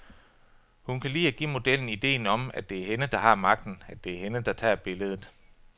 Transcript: Hun kan lide at give modellen ideen om, at det er hende, der har magten, at det er hende, der tager billedet.